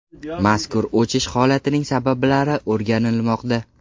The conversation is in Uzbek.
Mazkur o‘chish holatining sabablari o‘rganilmoqda.